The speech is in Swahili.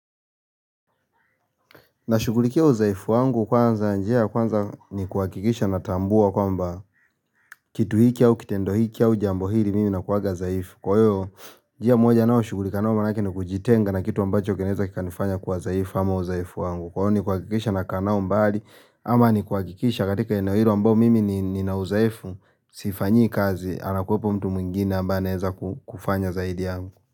Nashugulikia udhaifu wangu kwanza njia ya kwanza ni kuhakikisha natambua kwamba kitu hicho au kitendo hicho au jambo hili mimi nakuwaga zaifu. Kwa hiyo njia moja ninaoshugulika nao manake ni kujitenga na kitu ambacho kinaeza kikanifanya kuwa zaifu ama uzaifu wangu. Kwa hiyo ni kuhakikisha nakaa nao mbali ama ni kuhakikisha katika eneo hilo ambao mimi nina uzaifu sifanyii kazi anakuwepo mtu mwingine ambao anaeza kufanya zaidi yangu.